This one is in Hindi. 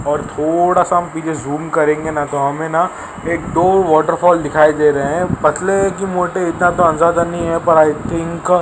और थोड़ा सा हम पीछे जूम करेंगे ना तो हमें ना एक दो वॉटरफॉल दिखाई दे रहे हैं पतले की मोटे इतना तो अंदाजा नहीं है पर आई थिंक --